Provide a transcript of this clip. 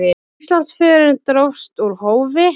Íslandsförin dróst úr hófi.